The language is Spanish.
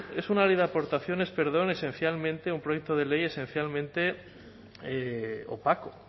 es una ley de aportaciones perdón esencialmente un proyecto de ley esencialmente opaco